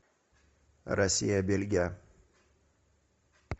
россия бельгия